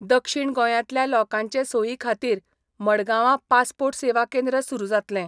दक्षीण गोंयांतल्या लोकांचे सोयी खातीर मडगांवां पासपोर्ट सेवा केंद्र सुरू जातलें.